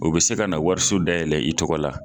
O be se ka na wariso dayɛlɛ i tɔgɔ la.